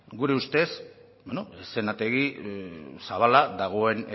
gure ustez bueno eszenategi zabala dagoen